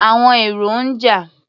Àwọn èrò ń jà.